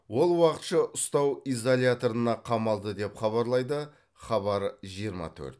ол уақытша ұстау изоляторына қамалды деп хабарлайды хабар жиырма төрт